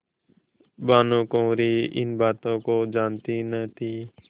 भानुकुँवरि इन बातों को जानती न थी